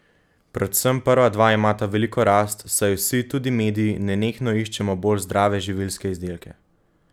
Predvsem prva dva imata veliko rast, saj vsi, tudi mediji, nenehno iščemo bolj zdrave živilske izdelke.